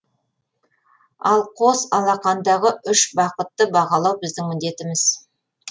ал қос алақандағы үш бақытты бағалау біздің міндетіміз